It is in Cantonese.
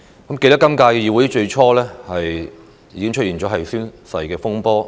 還記得本屆立法會成立之初，已發生宣誓風波。